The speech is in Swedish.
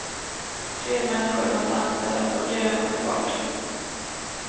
Fler människor måste anställas och köerna ska bort.